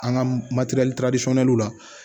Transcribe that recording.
An ka la